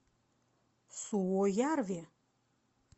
суоярви